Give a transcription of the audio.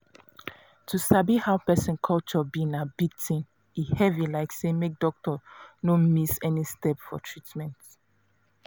to sabi how person culture be na big thing e heavy like say make doctor no miss any step for treatment.